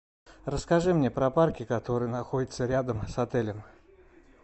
расскажи мне про парки которые находятся рядом с отелем